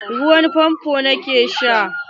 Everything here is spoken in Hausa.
Ruwan fanfon ni ke sha.